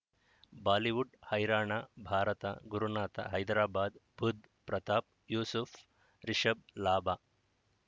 Bollywood ಹೈರಾಣ ಭಾರತ ಗುರುನಾಥ ಹೈದರಾಬಾದ್ ಬುಧ್ ಪ್ರತಾಪ್ ಯೂಸುಫ್ ರಿಷಬ್ ಲಾಭ